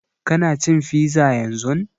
Ka na cin fiza yanzun?